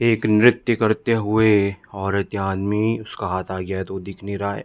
एक नृत्य करते हुए औरत या आदमी उसका हाथ आ गया है तो वो दिख नहीं रहा है।